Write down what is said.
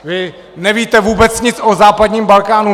Vy nevíte vůbec nic o západním Balkánu!